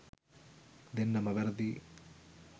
දෙන්නම වැරදියි